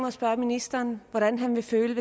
at spørge ministeren hvordan han ville føle